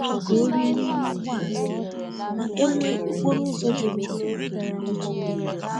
O kpokọtara nri ụtụtụ ka ọ rie nime ụgbọala ma e nwee okporo ụzọ juru n’ụtụtụ.